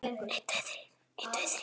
Að því þarf að hlúa.